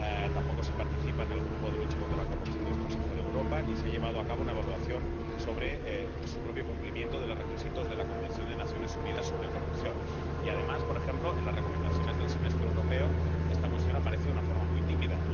tampoco se participa en el Grupo de lucha contra la corrupción del Consejo de Europa, ni se ha llevado a cabo una evaluación sobre el cumplimiento de los requisitos de la Convención de las Naciones Unidas contra la corrupción y, además, por ejemplo, en las recomendaciones del Semestre Europeo esta cuestión aparece de una forma muy tímida.